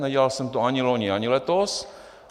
Nedělal jsem to ani loni, ani letos.